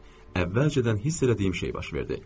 Əvvəlcədən hiss elədiyim şey baş verdi.